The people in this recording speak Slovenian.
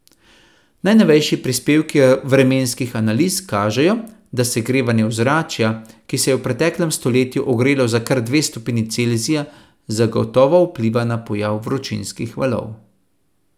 Najnovejši prispevki vremenskih analiz kažejo, da segrevanje ozračja, ki se je v preteklem stoletju ogrelo za kar dve stopinji Celzija, zagotovo vpliva na pojav vročinskih valov.